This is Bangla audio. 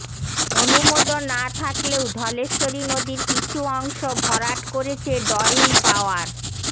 অনুমোদন না থাকলেও ধলেশ্বরী নদীর কিছু অংশ ভরাট করেছে ডরিন পাওয়ার